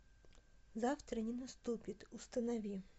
завтра не наступит установи